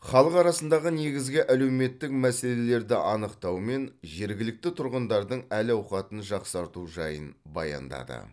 халық арасындағы негізгі әлеуметтік мәселелерді анықтау мен жергілікті тұрғындардың әл ауқатын жақсарту жайын баяндады